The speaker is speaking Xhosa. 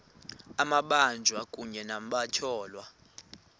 amabanjwa kunye nabatyholwa